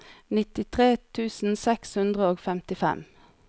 nittitre tusen seks hundre og femtifem